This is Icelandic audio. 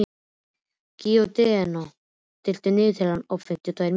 Gídeon, stilltu niðurteljara á fimmtíu og tvær mínútur.